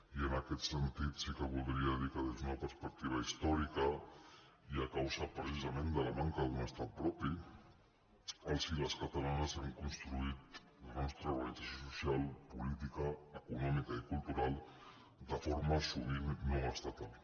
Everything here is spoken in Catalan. i en aquest sentit sí que voldria dir que des d’una perspectiva històrica i a causa precisament de la manca d’un estat propi els i les catalanes hem construït la nostra organització social política econòmica i cultural de forma sovint no estatal